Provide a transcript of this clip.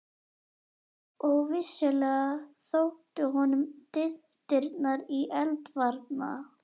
Og vissulega þóttu honum dyntirnir í eldvarna